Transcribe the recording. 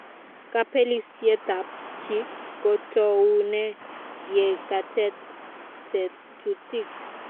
Kapelisietap chi ko toune ye katet tetutik